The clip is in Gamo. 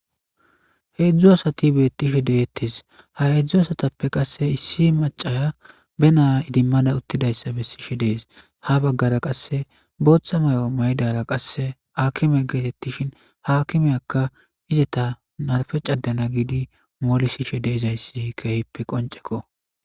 Heedzdzu asati beettishe deeettes ha heedzdzu asatappe qasse issi macaya be naa idimmada uttidayssa be sishe dees ha baggara qasse booththa may'o maydara qasse akime geetettishin haakimeyakka izeta narfe cadana giidi moolisishe deizayssi keehippe qonceko.